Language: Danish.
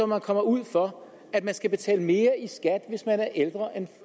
man kommer ud for at man skal betale mere i skat